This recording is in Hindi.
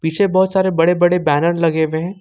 पीछे बहोत सारे बड़े बड़े बैनर लगे हुए है।